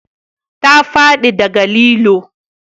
Ta fadi da ga lilo